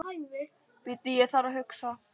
Bíddu ég þarf að hugsa.